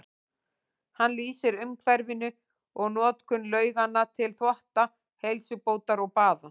Hann lýsir umhverfinu og notkun lauganna til þvotta, heilsubótar og baða.